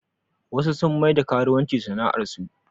Wasu sun maida karuwanci sana'ar su